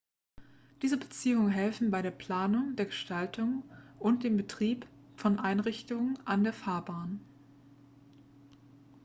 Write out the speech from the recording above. diese beziehungen helfen bei der planung der gestaltung und dem betrieb von einrichtungen an der fahrbahn